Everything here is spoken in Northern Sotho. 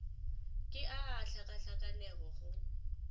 ke a a hlakahlakanego go